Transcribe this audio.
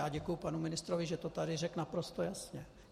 Já děkuji panu ministrovi, že to tady řekl naprosto jasně.